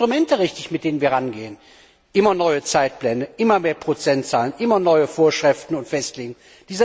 Sind denn die Instrumente richtig, mit denen wir da rangehen? Immer neue Zeitpläne, immer mehr Prozentzahlen, immer neue Vorschriften und Festlegungen.